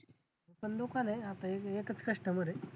पण दुकान आहे आता एकच customer आहे.